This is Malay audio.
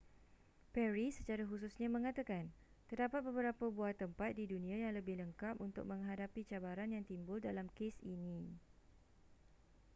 perry secara khususnya mengatakan terdapat beberapa buah tempat di dunia yang lebih lengkap untuk menghadapi cabaran yang timbul dalam kes ini